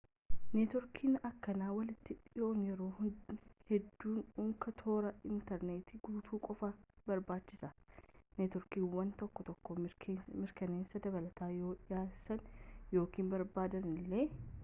neetwoorkii akkanaa walitti hidhuun yeroo hedduu unkaa toora intarneetiirraan guutuu qofa barbaachisa neetwoorkiiwwan tokko tokko mirkaneessa dabalataa yoo dhiyeessan ykn barbaadan illee